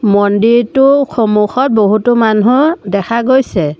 মন্দিৰটোৰ সন্মুখত বহুতো মানুহ দেখা গৈছে।